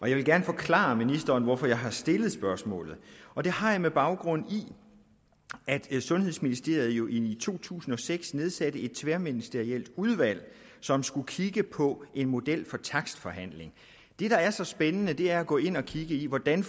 jeg vil gerne forklare ministeren hvorfor jeg har stillet spørgsmålet og det har jeg gjort med baggrund i at sundhedsministeriet i to tusind og seks nedsatte et tværministerielt udvalg som skulle kigge på en model for takstforhandling det der er så spændende er at gå ind og kigge i hvordan